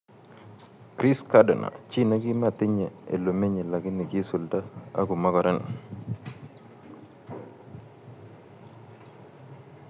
Chris Gardner:chi nematinye olemenye kogi isulda ago mogoren